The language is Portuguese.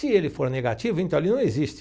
Se ele for negativo, então ele não existe.